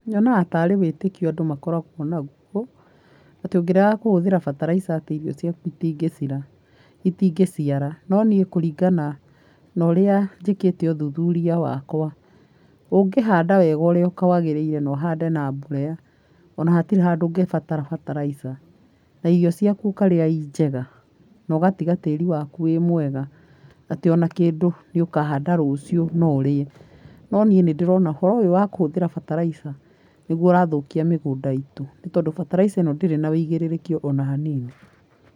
Nyonaga tarĩ wĩtĩkio andũ makoragwo naguo atĩ ũngĩrega kũhũthira fertilizer atĩ irio cĩaku itingĩcĩara, no nĩi kũringana na ũrĩa njĩkĩte ũthuthuria wakwa ũngĩhanda wega ũrĩa kwagĩrĩire na ũhande na mborea ũna hatirĩ handũ ũngĩbatara fertilizer na irio cĩaku ũkarĩa cinjega, na ũgatĩga tĩri waku wĩ mwega, atĩ ũna kĩndũ ũkahanda rũcĩu norĩe. No nĩi nĩndĩrona ũhoro ũyũ wa kũhũthĩra fertilizer nĩguo ũrathũkia mĩgunda itũ nĩ tondũ fertilizer ĩno ndĩrĩ na wũigĩrĩrĩki ũna hanini.